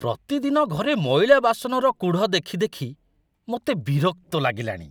ପ୍ରତିଦିନ ଘରେ ମଇଳା ବାସନର କୁଢ଼ ଦେଖି ଦେଖି ମୋତେ ବିରକ୍ତ ଲାଗିଲାଣି।